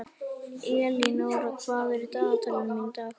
Elínóra, hvað er í dagatalinu mínu í dag?